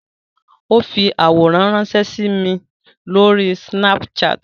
Ó fi àwòrán ránsẹ́ sí mi Lórí Snapchat